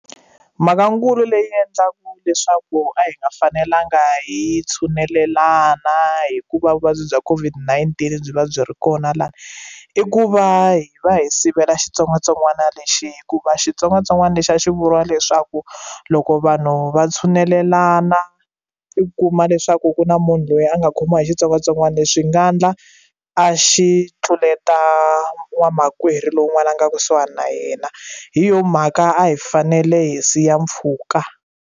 Mhakankulu leyi endlaka leswaku a hi nga fanelanga hi tshunelelana hikuva vuvabyi bya COVID-19 byi va byi ri kona lana i ku va hi va hi sivela xitsongwatsongwana lexi hikuva xitsongwatsongwana lexi a xi vuriwa leswaku loko vanhu va tshunelelana i kuma leswaku ku na munhu loyi a nga khomiwa hi xitsongwatsongwana lexi swi nga endla a xi tluleta vamakwerhu lowun'wana a nga kusuhani na yena hi yo mhaka a hi fanele hi siya mpfhuka.